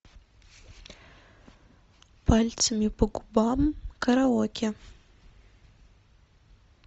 пальцами по губам караоке